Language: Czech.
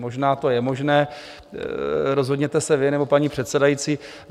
Možná to je možné, rozhodněte se vy nebo paní předsedající.